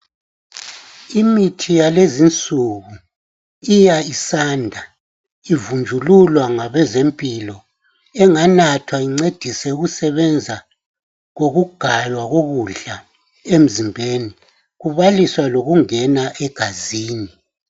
Imithi yalezi insuku iya isanda ivunjululwa ngabezempilo enganathwa incedise ukusebenza kokugaywa kokudla emzimbeni kubaliswa lokungena egazini.